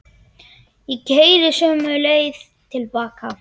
Ég keyri sömu leið til baka.